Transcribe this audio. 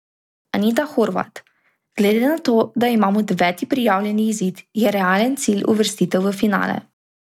Anita Horvat: "Glede na to, da imam deveti prijavljeni izid, je realen cilj uvrstitev v finale.